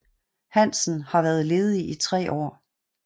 Hansen har været ledig i tre år